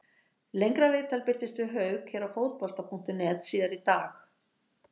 Lengra viðtal birtist við Hauk hér á Fótbolta.net síðar í dag.